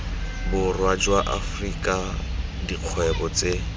borwa jwa afrika dikgwebo tse